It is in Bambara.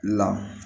La